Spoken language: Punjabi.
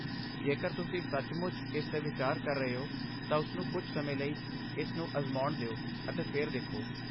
ਜੇਕਰ ਤੁਸੀਂ ਸੱਚਮੁੱਚ ਇਸ 'ਤੇ ਵਿਚਾਰ ਕਰ ਰਹੇ ਹੋ, ਤਾਂ ਉਸਨੂੰ ਕੁਝ ਸਮੇਂ ਲਈ ਇਸ ਨੂੰ ਅਜ਼ਮਾਉਣ ਦਿਓ ਅਤੇ ਫਿਰ ਦੇਖੋ।